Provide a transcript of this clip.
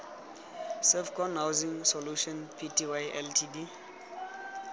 servcon housing solutions pty ltd